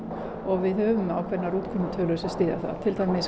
og við höfum ákveðnar útkomutölur sem að styðja það til dæmis